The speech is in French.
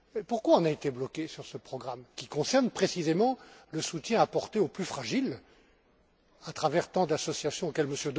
Pourquoi avons nous été bloqués sur ce programme qui concerne précisément le soutien apporté aux plus fragiles à travers tant d'associations auxquelles M.